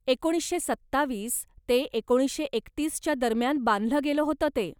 एकोणीशे सत्तावीस ते एकोणीशे एकतीस च्या दरम्यान बांधलं गेलं होतं ते.